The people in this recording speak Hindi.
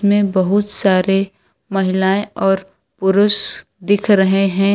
में बहुत सारे महिलाएं और पुरुष दिख रहे हैं।